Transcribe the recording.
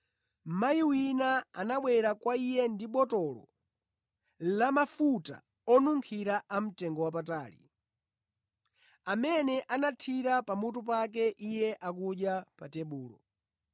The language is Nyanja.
mayi wina anabwera kwa Iye ndi botolo la mafuta onunkhira a mtengowapatali, amene anathira pa mutu pake Iye akudya pa tebulo.